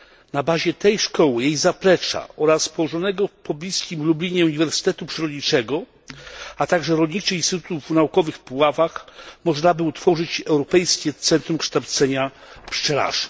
Na bazie tej szkoły i jej zaplecza oraz położonego w pobliskim Lublinie Uniwersytetu Przyrodniczego, a także rolniczych instytutów naukowych w Puławach, można by utworzyć Europejskie Centrum Kształcenia Pszczelarzy.